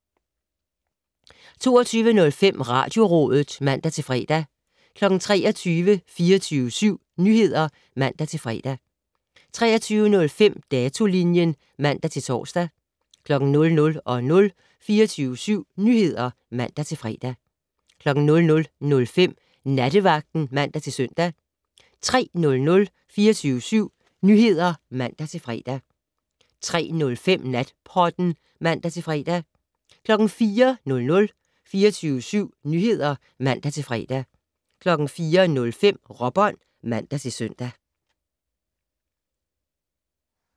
22:05: Radiorådet (man-fre) 23:00: 24syv Nyheder (man-fre) 23:05: Datolinjen (man-tor) 00:00: 24syv Nyheder (man-fre) 00:05: Nattevagten (man-søn) 03:00: 24syv Nyheder (man-fre) 03:05: Natpodden (man-fre) 04:00: 24syv Nyheder (man-fre) 04:05: Råbånd (man-søn)